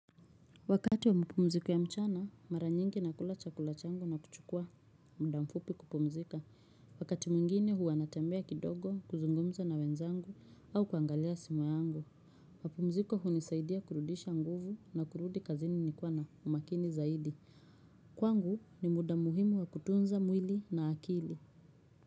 Wakati wa mapumziko ya mchana, mara nyingi nakula chakula changu na kuchukua muda mfupi kupumzika. Wakati mwingine huwa natambea kidogo, kuzungumza na wenzangu au kuangalia simu yangu. Mapumziko hunisaidia kurudisha nguvu na kurudi kazini nikiwa na umakini zaidi. Kwangu ni muda muhimu wa kutunza mwili na akili.